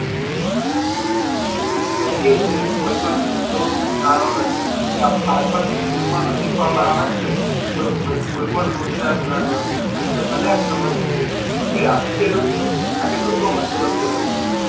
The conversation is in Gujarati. લે એજ ને કોઈ પણ ધંધો નાનો નથી કે બાળપણ થી સ્કૂલ મા તો શીખવામા આવે છે કે કોઈ કોઈ પણ રોજગાર આપડે ભલે આમ સમજતા હોઈએ કે આતો ખેડૂત છે કે આ કેટલુ કામતો હસે વર્ષ નુ